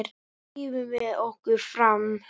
Nú drífum við okkur fram!